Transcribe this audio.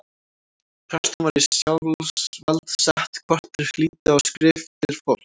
Prestum var í sjálfsvald sett hvort þeir hlýddu á skriftir fólks.